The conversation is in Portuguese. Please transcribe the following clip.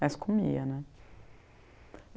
Mas comia, né?